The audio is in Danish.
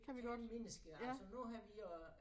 Kendte mennesker altså nu har vi øh